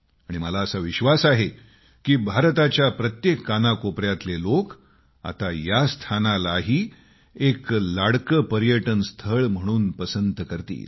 आणि मला असा विश्वास आहे की भारताच्या प्रत्येक कानाकोपर्यातले लोक आता या स्थानालाही एक लाडकं पर्यटन स्थळ म्हणून पसंत करतील